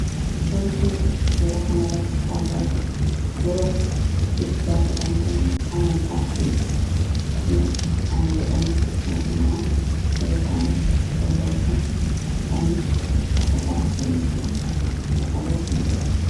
Wanti nuti suuraa kanarratti argaa jirru yeroo itti ittigaafatamtoonni amantaas ta'e akkasumas aanga'oonni mootummaa yeroo isaan itti walii wajjin dhufanii haasaa taasisanii fi kan agarsiisu dha.